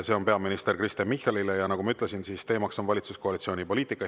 See on peaminister Kristen Michalile, ja nagu ma ütlesin, on teema valitsuskoalitsiooni poliitika.